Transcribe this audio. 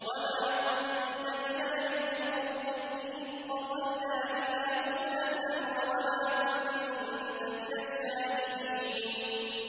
وَمَا كُنتَ بِجَانِبِ الْغَرْبِيِّ إِذْ قَضَيْنَا إِلَىٰ مُوسَى الْأَمْرَ وَمَا كُنتَ مِنَ الشَّاهِدِينَ